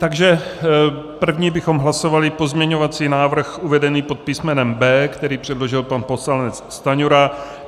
Takže první bychom hlasovali pozměňovací návrh uvedený pod písmenem B, který předložil pan poslanec Stanjura.